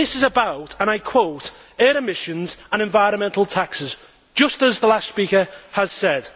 This is about and I quote air emissions and environmental taxes', just as the last speaker said.